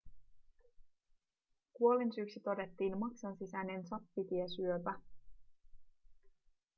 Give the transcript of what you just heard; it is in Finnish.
kuolinsyyksi todettiin maksansisäinen sappitiesyöpä